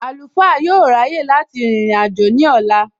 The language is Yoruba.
Àlùfáà yóò ráyè láti rìnrìn àjò ní ọ̀la